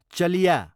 चलिया